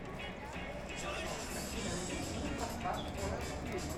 афина найди фильм форсаж восемь